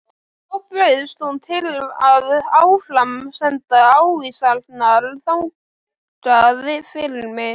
Þá bauðst hún til að áframsenda ávísanirnar þangað fyrir mig.